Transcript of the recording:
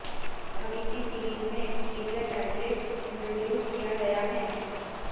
अब इसी सीरीज में एक्सपीरिया टैबलेट इंट्रोडयूस किया गया है